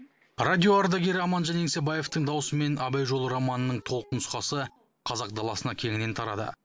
радио ардагері аманжан еңсебаевтың дауысымен абай жолы романының толық нұсқасы қазақ даласына кеңінен тарады